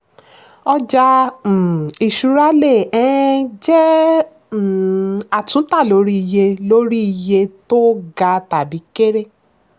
ọjà um ìṣúra le um jẹ́ um àtúntà lórí iye lórí iye tó ga tàbí kere.